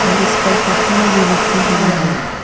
और इसपर पटना भी लिखी हुई है।